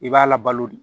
I b'a labalo de